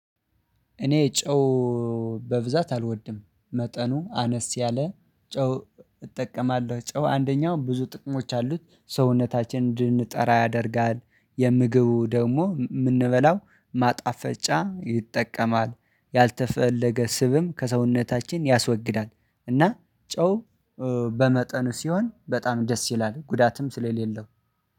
እኔ ጨው በብዛት አልወድም መጠኑ አነስ ያለ ጨው እጠቀማለሁ። ጨው አንደኛው ብዙ ጥቅሞች አሉት ሰውነታችንን እንድንጠራ ያደርጋል። የምግቡ ደግሞ የምንበላው ማጣፈጫ ይጠቀማል። ያልተፈለገ ስብም ከሰውነታችን ያስወግዳል። እና ጨው በመጠኑ ሲሆን በጣም ደስ ይላል ጉዳትም ስለሌለው